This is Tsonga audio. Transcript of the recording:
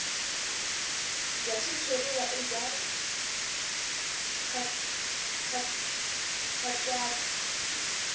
bya xitshuriwa i bya nkhaqato